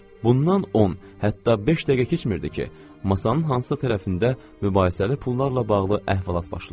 Bundan on, hətta beş dəqiqə keçmirdi ki, masanın hansı tərəfində mübahisəli pullarla bağlı əhvalat başlayırdı.